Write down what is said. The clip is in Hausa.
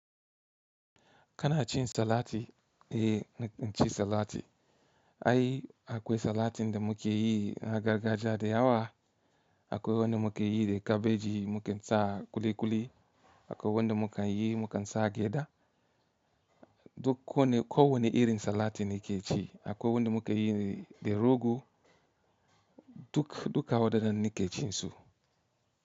Kana cin salati, eh na ci salati. Ai akwai salatin da mukeyi na gargajiya da yawa. Akwai wanda mukayi da kabeji muka sa ƙuliƙuli. Akwai wanda mukayi mukasa gyada. Dukko kowane irin salati nakeci. Akwai wanda mukayi da rogo. Duk duka waɗannan nake cinsu.